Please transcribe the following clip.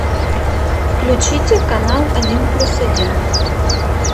включите канал один плюс один